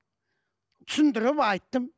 түсіндіріп айттым